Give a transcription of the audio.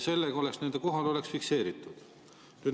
Sellega oleks nende kohalolek fikseeritud.